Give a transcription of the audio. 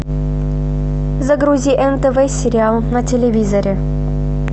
загрузи нтв сериал на телевизоре